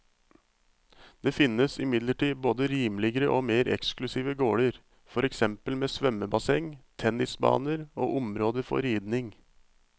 Det finnes imidlertid både rimeligere og mer eksklusive gårder, for eksempel med svømmebasseng, tennisbaner og områder for ridning.